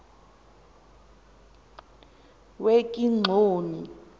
wekigxoni